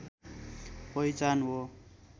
पहिचान हो